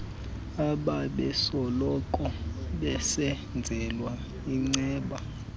abebesoloko besenzelwa iinceba